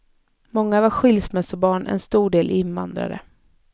Många var skilsmässobarn, en stor del invandrare.